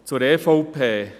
Zur EVP: